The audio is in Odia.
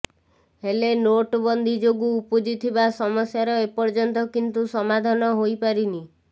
ହେଲେ ନୋଟବନ୍ଦୀ ଯୋଗୁ ଉପୁଜିଥିବା ସମସ୍ୟାର ଏପର୍ଯ୍ୟନ୍ତ କିନ୍ତୁ ସମାଧାନ ହୋଇପାରିନି